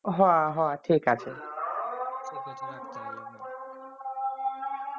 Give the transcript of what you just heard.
হ হ ঠিক আছে